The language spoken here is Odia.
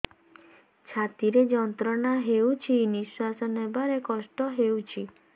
ଛାତି ରେ ଯନ୍ତ୍ରଣା ହେଉଛି ନିଶ୍ଵାସ ନେବାର କଷ୍ଟ ହେଉଛି